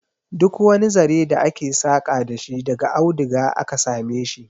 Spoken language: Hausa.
Duk wani zare da ake saka dashi daga aduga aka sameshi